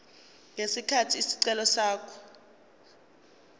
ngesikhathi isicelo sakhe